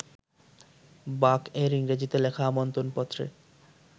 বাক-এর ইংরেজিতে লেখা আমন্ত্রণপত্রে